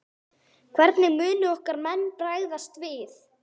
Hvernig munu okkar menn bregðast við?